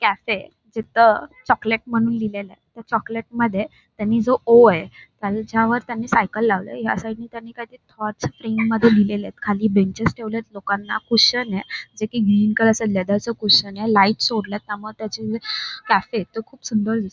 cafe जिथ chocolate म्हणून लिहिलेलय त्या चॉकलेटमध्ये त्यांनी जो ओ ये त्याच्यावर त्यांनी सायकल लावलय या साईटने त्यांनी काहीतरी थॉट्स स्प्रिंग मध्ये लिहिलेलेत खाली बेंचेस ठेवलेत लोकांना कुशन ये जे की ग्रीन कलर च लेदर च कुशन ये लाईट सोडल्यायत त्यामुळ त्याचे जे कॅफे तो खूप सुंदर दिस--